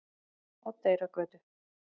Oddeyrargötu